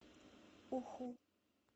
уху